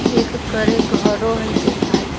एक करे घरो हई देखाय--